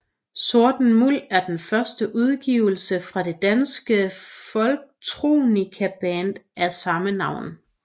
Sorten Muld er den første udgivelse fra det danske folktronicaband af samme navn